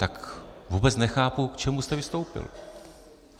Tak vůbec nechápu, k čemu jste vystoupil.